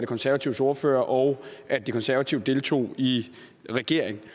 konservatives ordfører og at de konservative deltog i regering